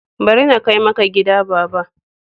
Bari na kai maka gida baba.